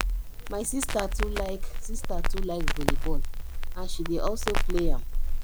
my sister too like sister too like volleyball and she dey also play am